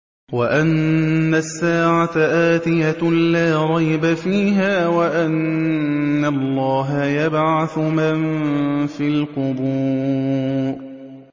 وَأَنَّ السَّاعَةَ آتِيَةٌ لَّا رَيْبَ فِيهَا وَأَنَّ اللَّهَ يَبْعَثُ مَن فِي الْقُبُورِ